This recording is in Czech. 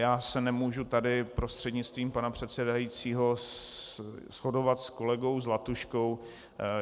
Já se nemůžu tady prostřednictvím pana předsedajícího shodovat s kolegou Zlatuškou.